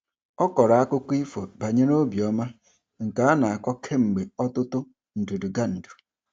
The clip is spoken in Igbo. Ọ kọrọ akụkọ ifo banyere obiọma nke a na-akọ kemgbe ọtụtụ ndudugandu.